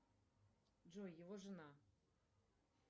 джой его жена